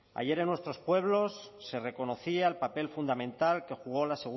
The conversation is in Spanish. ayer en nuestros pueblos se reconocía el papel fundamental que jugó la